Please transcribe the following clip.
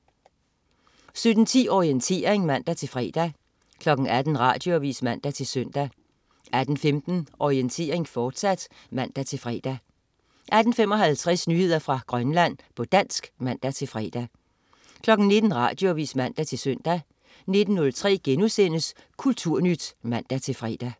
17.10 Orientering (man-fre) 18.00 Radioavis (man-søn) 18.15 Orientering, fortsat (man-fre) 18.55 Nyheder fra Grønland, på dansk (man-fre) 19.00 Radioavis (man-søn) 19.03 Kulturnyt* (man-fre)